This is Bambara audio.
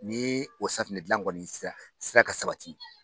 N'i o safinɛ dilan kɔni sera sera ka sabati.